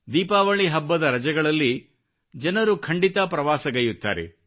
ದೀಪಾವಳಿ ಹಬ್ಬದ ರಜೆಗಳಲ್ಲಿ ಜನರು ಖಂಡಿತ ಪ್ರವಾಸಗೈಯ್ಯುತ್ತಾರೆ